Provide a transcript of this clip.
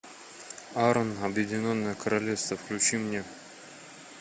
арн объединенное королевство включи мне